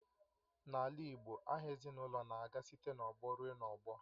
N'ala igbo aha ezinụlọ na-aga site n'ọgbọ ruo n'ọgbọ